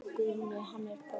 Guðni hann er bara maður.